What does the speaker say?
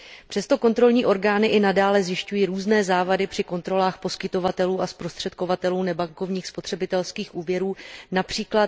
Přesto kontrolní orgány i nadále zjišťují různé závady při kontrolách poskytovatelů a zprostředkovatelů nebankovních spotřebitelských úvěrů, např.